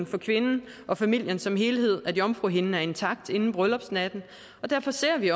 for kvinden og familien som helhed at jomfruhinden er intakt inden bryllupsnatten og derfor ser vi